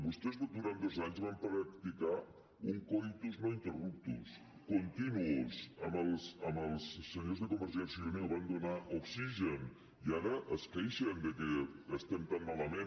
vostès durant dos anys van practicar un coitus no amb els senyors de convergència i unió van donar oxigen i ara es queixen que estem tan malament